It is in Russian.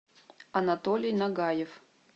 анатолий нагаев